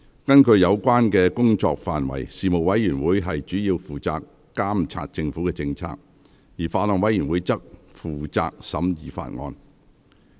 根據有關的工作範圍，事務委員會主要負責監察政府政策，而法案委員會則負責審議法案。